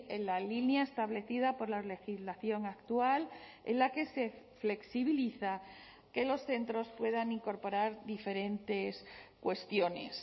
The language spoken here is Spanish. en la línea establecida por la legislación actual en la que se flexibiliza que los centros puedan incorporar diferentes cuestiones